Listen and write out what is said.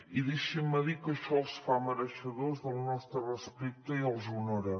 i deixin me dir que això els fa mereixedors del nostre respecte i els honora